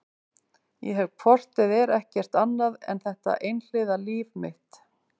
Ég hef hvort eð er ekkert annað en þetta einhliða líf mitt.